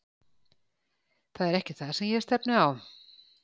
Það er ekki það sem ég stefni á.